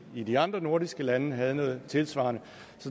i de andre nordiske lande havde noget tilsvarende